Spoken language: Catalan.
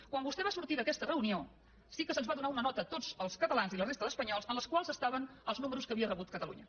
quan vostè va sortir d’aquesta reunió sí que se’ns va donar una nota a tots els catalans i a la resta d’espanyols en la qual hi havia els números que havia rebut catalunya